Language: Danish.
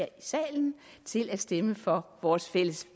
i salen til at stemme for vores fælles